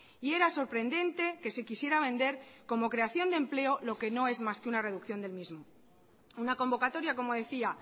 y era sorprendente que se quisiera vender como creación de empleo lo que no es más que una reducción del mismo una convocatoria como decía